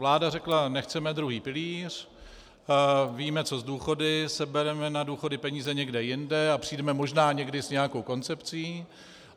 Vláda řekla nechceme druhý pilíř, víme co s důchody, sebereme na důchody peníze někde jinde a přijdeme možná někdy s nějakou koncepcí.